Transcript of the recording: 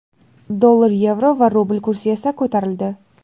Dollar, yevro va rubl kursi esa ko‘tarildi.